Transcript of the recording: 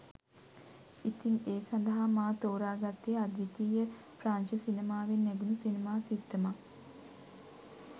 ඉතිං ඒ සඳහා මා ‍තෝරාගත්තේ අද්විතීය ප්‍රංශ සිනමාවෙන් නැගුණු සිනමා සිත්තමක්